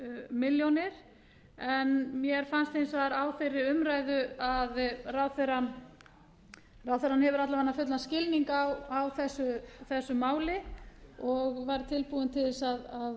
milljónir mér fannst hins vegar á þeirri umræðu að ráðherrann hefði alla vega fullan skilning á þessu máli og væri tilbúin til þess að